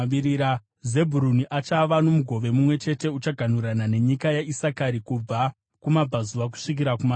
Zebhuruni achava nomugove mumwe chete; uchaganhurana nenyika yaIsakari kubva kumabvazuva kusvika kumavirira.